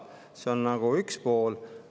See on üks pool.